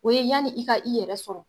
O ye yani i ka i yɛrɛ sɔrɔ.